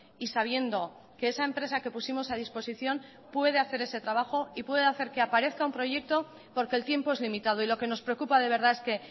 y sabiendo que esa empresa que pusimos a disposición puede hacer ese trabajo y puede hacer que aparezca un proyecto porque el tiempo es limitado y lo que nos preocupa de verdad es que